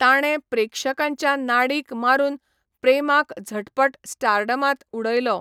ताणें प्रेक्षकांच्या नाडीक मारून प्रेमाक झटपट स्टारडमांत उडयलो.